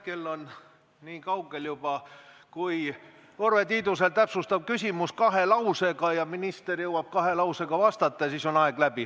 Kell on juba niikaugel, et kui Urve Tiidus esitab täpsustava küsimuse kahe lausega ja minister jõuab kahe lausega vastata, siis on aeg läbi.